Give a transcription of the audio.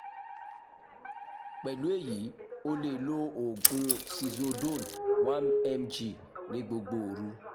pẹ̀lú èyí o lè lo oògùn sizodone one mg ní gbogbo òru